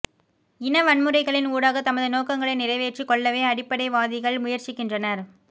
இன வன்முறைகளின் ஊடாக தமது நோக்கங்களை நிறைவேற்றிக் கொள்ளவே அடிப்படைவாதிகள் முயற்சிக்கின்றனர்